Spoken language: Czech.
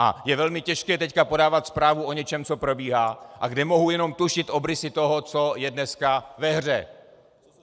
A je velmi těžké teď podávat zprávu o něčem, co probíhá a kde mohu jenom tušit obrysy toho, co je dneska ve hře.